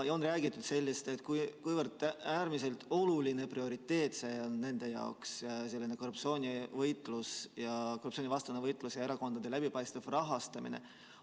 On räägitud sellest, kui oluline prioriteet see nende jaoks on, korruptsioonivastane võitlus ja erakondade läbipaistev rahastamine.